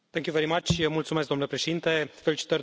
Domnule președinte, felicitări domnului Coelho.